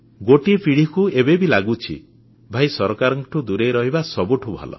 ଗୋଟିଏ ପିଢ଼ିକୁ ଏବେ ବି ଲାଗୁଛି ଭାଇ ସରକାରଙ୍କଠୁ ଦୂରେଇ ରହିବା ସବୁଠୁ ଭଲ